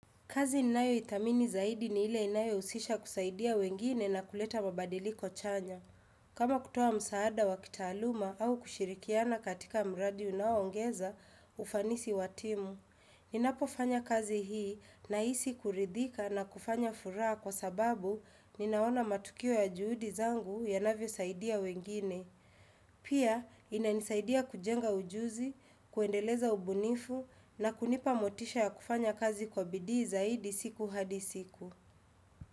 Kazi ninayoithamini zaidi ni ile inayohusisha kusaidia wengine na kuleta mabadiliko chanya. Kama kutoa msaada wa kitaaluma au kushirikiana katika mradi unaoongeza ufanisi wa timu. Ninapofanya kazi hii nahisi kuridhika na kufanya furaha kwa sababu ninaona matukio ya juhudi zangu yanavyo saidia wengine. Pia inanisaidia kujenga ujuzi, kuendeleza ubunifu na kunipa motisha ya kufanya kazi kwa bidii zaidi siku hadi siku.